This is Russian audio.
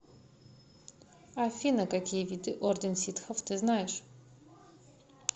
афина какие виды орден ситхов ты знаешь